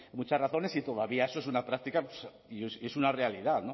muchas razones y todavía eso es una práctica y es una realidad